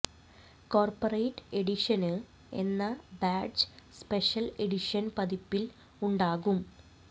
corporate എഡിഷന് എന്ന badge special edition പതിപിൽ ഉണ്ടാകും